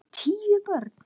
Tíu börn.